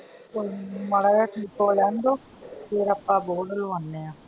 ਮਾੜਾ ਜਿਹਾ ਠੀਕ ਹੋ ਲੈਣ ਦੋ ਫੇਰ ਆ ਆਪਾਂ board ਲਵਾਂਨੇ ਆ।